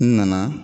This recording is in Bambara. N nana